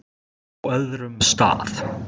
Á öðrum stað.